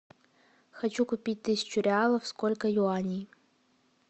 хочу купить тысячу реалов сколько юаней